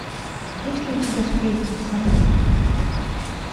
есть ли у тебя сплетница